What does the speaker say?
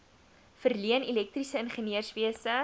verleen elektriese ingenieurswese